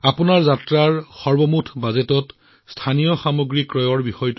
আপোনালোকৰ ভ্ৰমণৰ সামগ্ৰিক বাজেটত আপোনালোকে স্থানীয় সামগ্ৰী ক্ৰয় কৰিব লাগিব